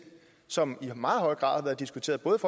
som i meget høj grad har været diskuteret både